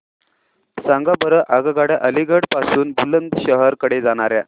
सांगा बरं आगगाड्या अलिगढ पासून बुलंदशहर कडे जाणाऱ्या